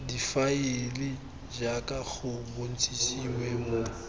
difaele jaaka go bontshitswe mo